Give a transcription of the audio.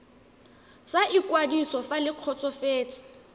sa ikwadiso fa le kgotsofetse